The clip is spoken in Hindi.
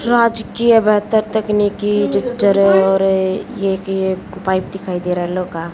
राजकीय बेहतर तकनीकी जिज्जर है और ये ये की पाइप दिखाई दे रहा है लौ का--